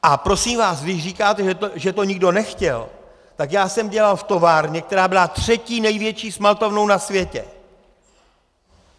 A prosím vás, když říkáte, že to nikdo nechtěl, tak já jsem dělal v továrně, která byla třetí největší smaltovnou na světě.